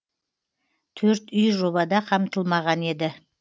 төрт үй жобада қамтылмаған еді